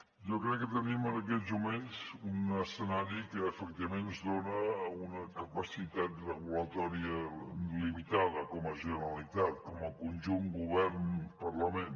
jo crec que tenim en aquests moments un escenari que efectivament ens dona una capacitat reguladora limitada com a generalitat com a conjunt govern parlament